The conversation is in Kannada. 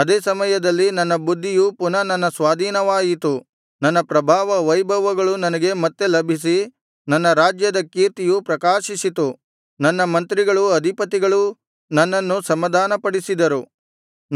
ಅದೇ ಸಮಯದಲ್ಲಿ ನನ್ನ ಬುದ್ಧಿಯು ಪುನಃ ನನ್ನ ಸ್ವಾಧೀನವಾಯಿತು ನನ್ನ ಪ್ರಭಾವ ವೈಭವಗಳು ನನಗೆ ಮತ್ತೆ ಲಭಿಸಿ ನನ್ನ ರಾಜ್ಯದ ಕೀರ್ತಿಯು ಪ್ರಕಾಶಿಸಿತು ನನ್ನ ಮಂತ್ರಿಗಳೂ ಅಧಿಪತಿಗಳೂ ನನ್ನನ್ನು ಸಮಾಧಾನಪಡಿಸಿದರು